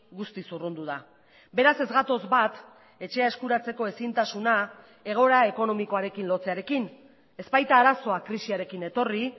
guztiz urrundu da beraz ez gatoz bat etxea eskuratzeko ezintasuna egoera ekonomikoarekin lotzearekin ez baita arazoa krisiarekin etorri